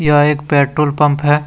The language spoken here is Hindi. यह एक पेट्रोल पंप है।